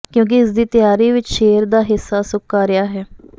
ਕਿਉਂਕਿ ਇਸ ਦੀ ਤਿਆਰੀ ਵਿਚ ਸ਼ੇਰ ਦਾ ਹਿੱਸਾ ਸੁਕਾ ਰਿਹਾ ਹੈ